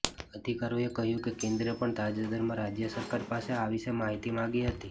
અધિકારીએ કહ્યું કે કેન્દ્રે પણ તાજેતરમાં રાજ્ય સરકાર પાસે આ વિશે માહિતી માગી હતી